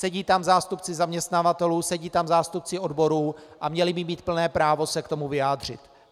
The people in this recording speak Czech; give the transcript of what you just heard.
Sedí tam zástupci zaměstnavatelů, sedí tam zástupci odborů a měli by mít plné právo se k tomu vyjádřit.